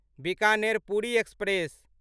Bikaner Puri express